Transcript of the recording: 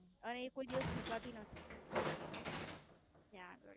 અને એકોઈ દિવસ સુકાતી નથી ત્યાં આગળ.